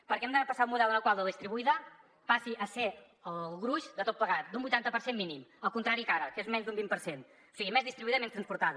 perquè hem de passar d’un model en el qual la distribuïda passi a ser el gruix de tot plegat d’un vuitanta per cent mínim al contrari que ara que és menys d’un vint per cent o sigui més distribuïda i menys transportada